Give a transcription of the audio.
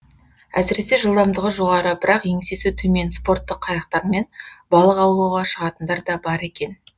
әсіресе жылдамдығы жоғары бірақ еңсесі төмен спорттық қайықтармен балық аулауға шығатындар да бар екен